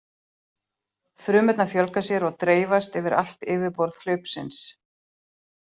Frumurnar fjölga sér og dreifast yfir allt yfirborð hlaupsins.